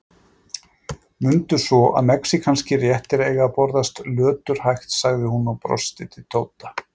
Mundu svo að mexíkanskir réttir eiga að borðast löturhægt, sagði hún og brosti til Tóta.